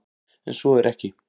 En svo er ekki.